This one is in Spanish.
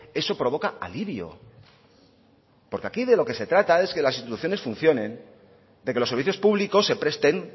eso provoca alivio porque aquí de lo que se trata es que las instituciones funcionen de que los servicios públicos se presten